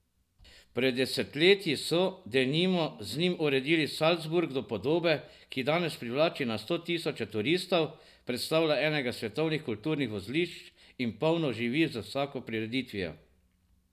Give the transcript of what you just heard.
Pred desetletji so, denimo, z njim uredili Salzburg do podobe, ki danes privlači na sto tisoče turistov, predstavlja enega svetovnih kulturnih vozlišč in polno živi z vsako prireditvijo.